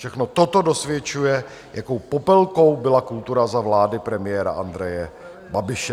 Všechno toto dosvědčuje, jakou Popelkou byla kultura za vlády premiéra Andreje Babiše.